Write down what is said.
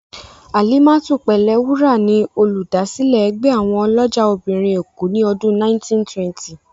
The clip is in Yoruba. Alimatu Pelewura ni Olùdásílẹ̀ ẹgbẹ́ àwọn ọlọ́jà obìnrin èkó ni ọdún 1920.